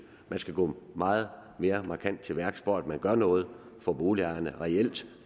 man skal gå meget mere markant til værks for at gøre noget for boligejerne reelt